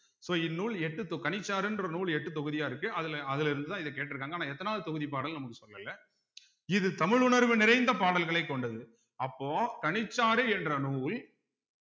so இந்நூல் எட்டு தொ கனிச்சாறுன்ற நூல் எட்டு தொகுதியா இருக்கு அதுல அதுல இருந்துதான் இத கேட்டிருக்காங்க ஆனா எத்தனாவது தொகுதி பாடல்ன்னு நமக்கு சொல்லல இது தமிழ் உணர்வு நிறைந்த பாடல்களைக் கொண்டது அப்போ கனிச்சாறு என்ற நூல்